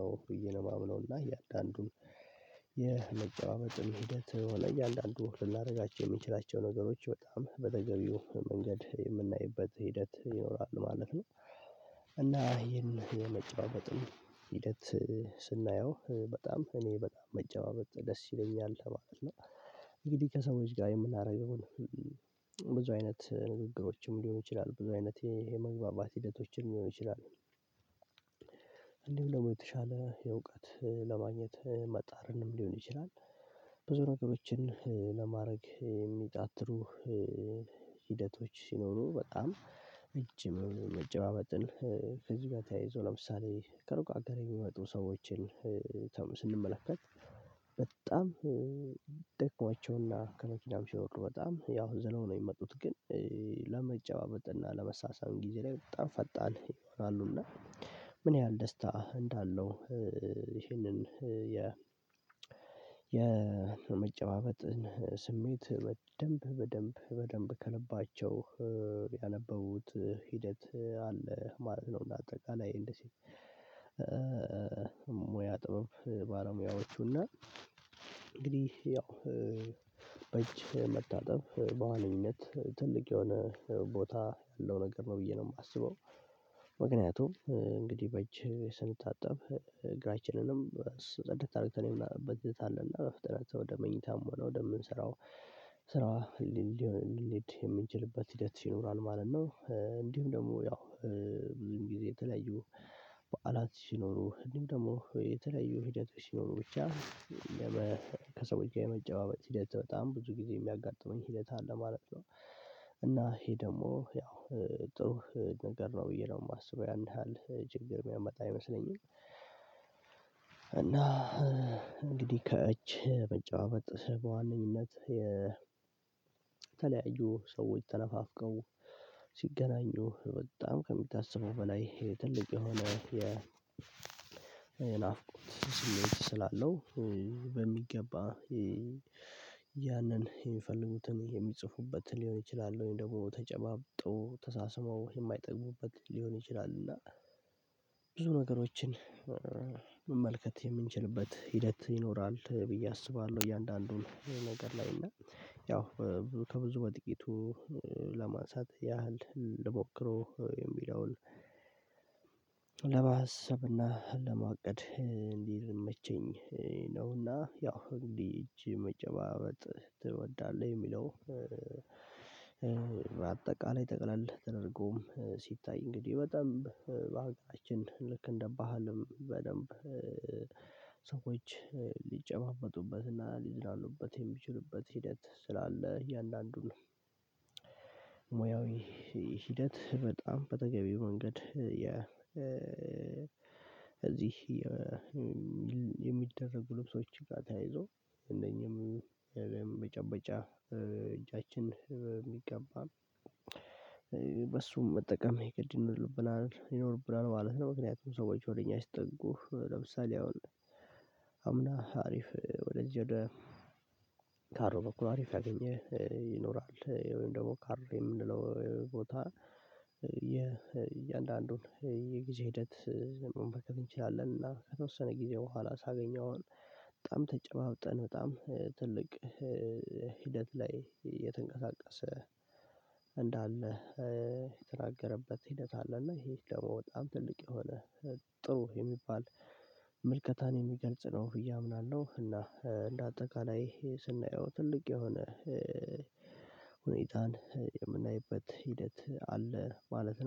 ነው ብዬ ነው የማምነው እና እያንዳንዱን የመጨባበጥን ሂደት ላይ እያንዳንዱን ልናደርጋቸው የምንችላቸው ነገሮች በጣም በተገቢው መንገድ የምናይበት ሂደት ይኖራል ማለት ነው። እና ይሄን የመጨባበጥም ሂደት ስናየው በጣም እኔ በጣም መጨባበጥ ደስ ይለኛል ማለት ነው። እንግዲህ ከሰዎች ጋር የምናደርገውን ብዙ አይነት ንግግሮችም ሊሆኑ ይችላሉ ብዙ አይነት የመግባባት ሂደቶችም ሊሆኑ ይችላሉ። እንዲሁም ደግሞ የተሻለ የእውቀት ለማግኘት መጣርንም ሊሆን ይችላል። ብዙ ነገሮችን ለማረግ የሚጣጥሩ ሂደቶች ሲኖሩ በጣም እጅ መጨባበጥን ከዚህ ጋር ተያይዞ ለምሳሌ ከሩቅ አገር የሚመጡ ሰዎችን ስንመለከት በጣም ደክሟቸውና ከመኪናም ሲወርዱ በጣም ያው ዝለው ነው የሚመጡት ግን ለመጨባበጥና ለመሳሳም ጊዜ ላይ በጣም ፈጣን ይሆናሉና ምን ያህል ደስታ እንዳለው ይህንን የ የመጨባበጥን ስሜት በደንብ በደንብ በደንብ ከልባቸው ያነበቡት ሂደት አለ ነው። ለአጠቃላይ እንደዚህ ሙያ ጥበብ ባለሙያዎቹ እና እንግዲህ ያው በእጅ መታጠብ በዋነኝነት ትልቅ የሆነ ቦታ ያለው ነገር ነው ብዬ ነው የማስበው። ምክንያቱም እንግዲህ በእጅህ ስንታጠብ እግራችንንም ጽድት አድርገን የምናጥብበት በዘተ አለና በፍጥነት ወደ መኝታም ሆነ ወደምንሰራው ስራ ልንሄድ የምንችልበት ሂደት ይኖራል ማለት ነው። እንዲሁም ደግሞ ያው ብዙም ጊዜ የተለዩ በዓላት ሲኖሩ እንዲሁ ደግሞ የተለያዩ ሂደቶች ሲኖሩ ብቻ ከሰው ጋር የመጨባበጥ ሂደት በጣም ብዙ ጊዜ የሚያጋጥመኝ ሂደት አለ ማለት ነው። እና ይሄ ደግሞ ያው ጥሩ ነገር ነው ብዬ ነው የማስበው ያን ያህል ችግር የሚያመጣ አይመስለኝም። እና እንግዲህ ከእጅ መጨባበጥ በዋነኝነት እነዚህነት የተለያዩ ሰዎች ተነፋፍቀው ሲገናኙ በጣም ከሚታሰበው በላይ ትልቅ የሆነ የናፍቆት ስሜት ስላለው በሚገባ ያንን የሚፈልጉትን የሚጽፉበትን ሊሆን ይችላል ወይም ደግሞ ተጨባብጦ ተሳስመው የማይጠግቡበት ሊሆን ይችላል እና ብዙ ነገሮችን መመልከት የምንችልበት ሂደት ይኖራል። ብዬ አስባለሁ እያንዳንዱን ነገር ላይ እና ያው ከብዙ በጥቂቱ ለማንሳት ያህል ልሞክረው የሚለውን ለማሰብና ለመዋቀድ እንዲመቼኝ ነውና ያው እንዲህ እጅ መጨባበጥ ትወዳለህ የሚለው? በአጠቃላይ ጠቅለል ተደርጎም ሲታይ እንግዲህ በደንብ በሀገራችን ልክ እንደ ባህልም በደንብ ሰዎች ሊጨባበጡበትና ሊዝናኑበት የሚችሉበት ሂደት ስላለ እያንዳንዱን ሙያዊ ሂደት በጣም በተገቢው መንገድ የእዚህ የሚደረጉ ልብሶች ጋር ተያይዞ እንደኛም የመጨበጫ እጃችን የሚገባም በሱም መጠቀም የግድ ይኖርብናል ይኖርብናል ማለት ነው። ምክንያቱም ሰዎች ወደ እኛ ሲጠጉ ለምሳሌ አሁን አምና አሪፍ ወደ እጄ ወደ ካሮ በኩል አሪፍ አገኘ ይኖራል ወይም ደግሞ ካርው የምንለው ቦታ እያንዳንዱን የጊዜ ሂደት መመልከት እንችላለን እና ከተወሰነ ጊዜ በኋላ ሳገኘው በጣም ተጨባብጠን በጣም ትልቅ ሂደት ላይ የተንቀሳቀሰ እንዳለ የተናገረበት ሂደት አለ እና ይሄ ደግሞ በጣም ትልቅ የሆነ ጥሩ የሚባል ምልከታን የሚገልጽ ነው ብዬ አምናለሁ። እና እንደ አጠቃላይ ስናየው ትልቅ የሆነ ሁኔታን የምናይበት ሂደት አለ ማለት ነው